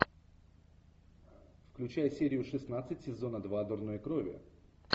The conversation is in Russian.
включай серию шестнадцать сезона два дурной крови